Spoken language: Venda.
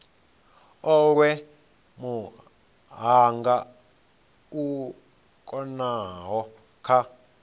olwe muhanga u konaho kha